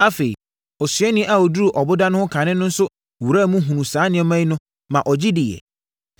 Afei, osuani a ɔduruu ɔboda no ho kane no nso wuraa mu hunuu saa nneɛma no maa ɔgye diiɛ.